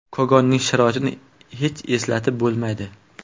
Kogonning sharoitini hech eslatib bo‘lmaydi.